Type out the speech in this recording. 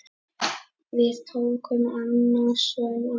Við tóku annasöm ár.